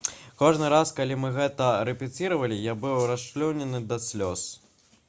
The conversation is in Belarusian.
кожны раз калі мы гэта рэпеціравалі я быў расчулены да слёз